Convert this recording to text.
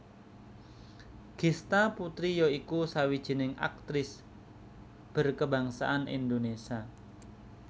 Gista Putri ya iku sawijining aktris berkebangsaan Indonesia